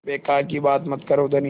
बेकार की बात मत करो धनी